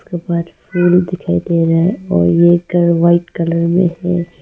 फूल दिखाई दे रहा है और ये घर व्हाइट कलर में है।